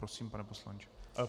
Prosím, pane poslanče.